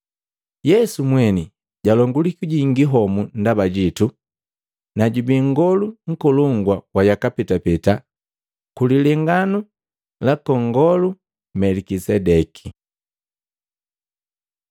Yesu mweni julonguli kujingi homu ndaba jitu na jubii nngolu nkolongu wa yaka petapeta, kulilenganu laka nngolu Melikisedeki.